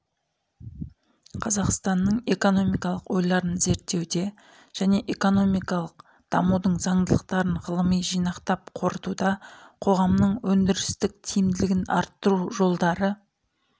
қазақстанның экономикалық ойларын зерттеуде және экономикалық дамудың заңдылықтарын ғылыми жинақтап қорытуда қоғамдық өндірістің тиімділігін арттыру жолдары